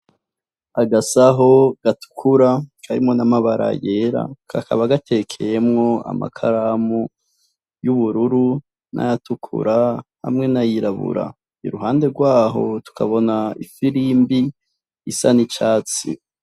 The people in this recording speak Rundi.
Agasaho gatukura karimwo n'amabara yera, kakaba gatekeyemwo amakaramu y'ububuru n'ayatukura hamwe n'ayirabura , iruhande gwaho tukabona ifirimbI isa n'icatsi.